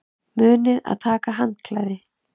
Munið að taka með handklæði!